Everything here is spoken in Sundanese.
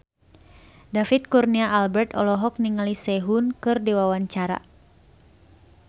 David Kurnia Albert olohok ningali Sehun keur diwawancara